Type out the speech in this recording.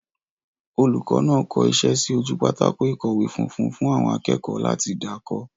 Olùkọ́ náà kọ iṣẹ́ sí ojú pátákó ìkọ̀wé funfun fún àwọn akẹ́kọ̀ọ́ láti dà kọ.